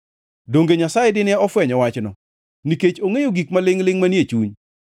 donge Nyasaye dine ofwenyo wachno, nikech ongʼeyo gik malingʼ-lingʼ manie chuny?